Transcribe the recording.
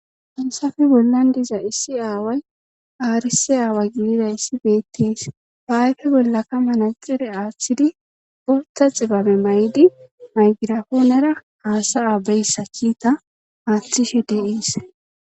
Hensafe bollan diza issi aaway aarisi aawa gilida issi beettis baayfe bollakka mana xire aaththidi gortha xibame may'di maygirafoonera haasay aabeyssa kiita aaththishe deiis